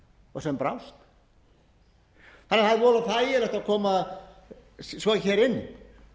og sem brást það er voða þægilegt að koma svo hér inn